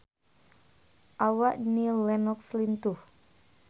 Awak Annie Lenox lintuh